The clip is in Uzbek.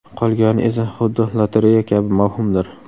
Qolgani esa – xuddi lotereya kabi mavhumdir.